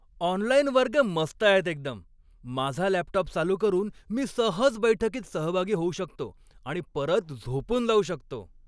Online वर्ग मस्त आहेत एकदम. माझा लॅपटॉप चालू करून मी सहज बैठकीत सहभागी होऊ शकतो आणि परत झोपून जाऊ शकतो.